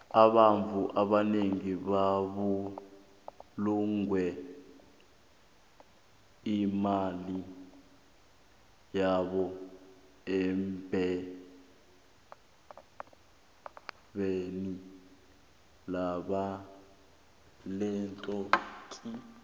abantfu abanengi babulunge imali yabo erhwebeni lenthuthi